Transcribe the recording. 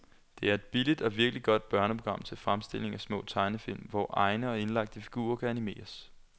Det er et billigt og virkelig godt børneprogram til fremstilling af små tegnefilm, hvor egne og indlagte figurer kan animeres.